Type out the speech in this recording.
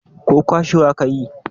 ko kwashewa ka yi?